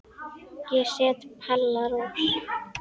Ég set Palla Rós.